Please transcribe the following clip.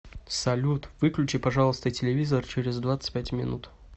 салют выключи пожалуйста телевизор через двадцать пять минут